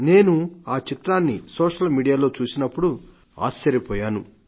నేను ఆ చిత్రాన్నిసోషల్ మీడియాలో చూసినప్పుడు నేను ఆశ్చర్యపోయాను